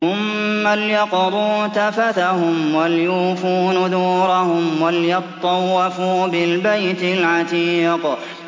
ثُمَّ لْيَقْضُوا تَفَثَهُمْ وَلْيُوفُوا نُذُورَهُمْ وَلْيَطَّوَّفُوا بِالْبَيْتِ الْعَتِيقِ